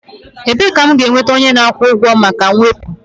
Ebee ka m ga-enweta onye na-akwụ ụgwọ maka mwepu?